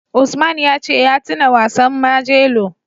Usman ya ce ya tuna wasan Majelo.